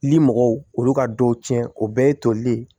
Limɔgɔw olu ka dɔw tiɲɛ o bɛɛ ye toli ye